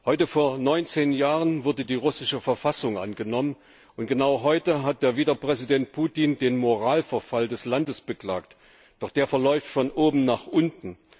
Heute vor neunzehn Jahren wurde die russische Verfassung angenommen, und genau heute hat der Wieder Präsident Putin den Moralverfall des Landes beklagt, doch der verläuft von oben nach unten.